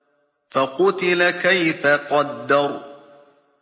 فَقُتِلَ كَيْفَ قَدَّرَ